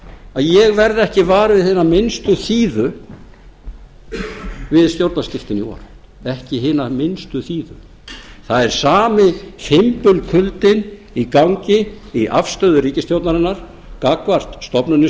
að ég verð ekki var við hina minnst þíðu við stjórnarskiptin í vor ekki hina minnstu þíðu það er sami fimbulkuldinn í gangi í afstöðu ríkisstjórnarinnar gagnvart stofnunum